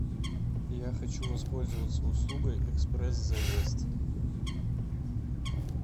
я хочу воспользоваться услугой экспресс заезд